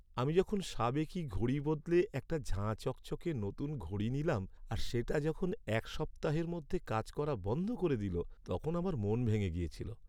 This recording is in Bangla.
আমি যখন সাবেকি ঘড়ি বদলে একটা ঝাঁ চকচকে নতুন ঘড়ি নিলাম, আর সেটা যখন এক সপ্তাহের মধ্যে কাজ করা বন্ধ করে দিল তখন আমার মন ভেঙে গিয়েছিল।